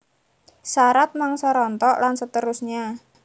Sarat mangsa rontok lan seterusnya